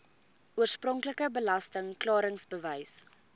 oorspronklike belasting klaringsbewys